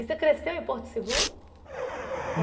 E você cresceu em Porto Seguro?